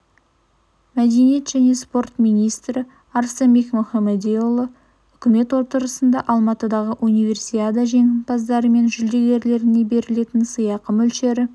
мәдениет және спорт министрі арыстанбек мұхамедиұлы үкімет отырысында алматыдағы универсиада жеңімпаздары мен жүлдегерлеріне берілетін сыйақы мөлшері